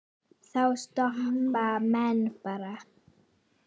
Þá stoppa menn bara.